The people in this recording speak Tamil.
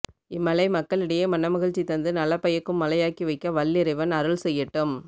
இம் மழை மக்களிடையே மனமகிழ்ச்சி தந்து நல பயக்கும் மழையாக்கி வைக்க வல்லிறைவன் அருள் செய்யட்டும்